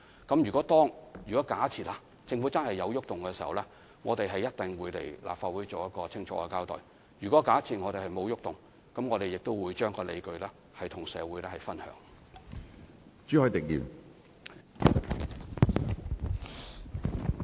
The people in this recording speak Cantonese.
假設政府真的對安排有所改動，我們一定會前來立法會清楚交代；而假設沒有改動，我們也會與社會分享有關理據。